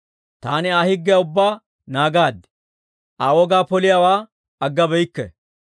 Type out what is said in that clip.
Taani Aa higgiyaa ubbaa naagaad; Aa wogaa poliyaawaa aggabeykke.